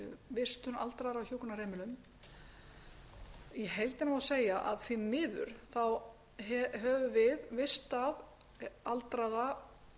vistun aldraðra á hjúkrunarheimilum í heildina á segja að því miður höfum við vistað aldraða